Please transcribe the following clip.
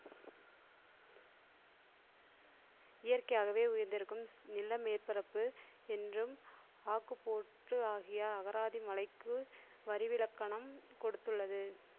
இயற்கையாகவே உயர்ந்திருக்கும் நில மேற்பரப்பு என்றும் ஆக்கு போற்று ஆகிய அகராதி மலைக்கு வரிவிலக்கணம் கொடுத்துள்ளது.